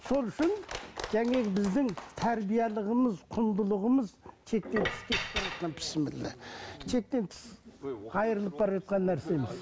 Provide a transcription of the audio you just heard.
сол үшін біздің тәрбиелігіміз құндылығымыз шектен тыс кетіп бара жатқан біссіміллә шектен тыс қайырылып бара жатқан нәрсеміз